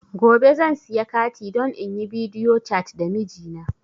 Gobe zan siya kati don inyi bidiyo cat da mijina